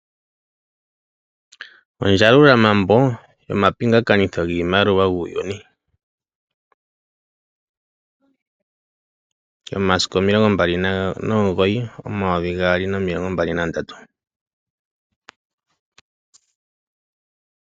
Ondjalulambo yomapingakanitho giimaliwa muuyuni yomasiku 29 omayovi gaali nomilongo mbali nandatu.